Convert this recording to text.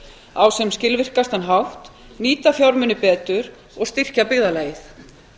á sem skilvirkastan hátt nýta fjármuni betur og styrkja byggðarlagið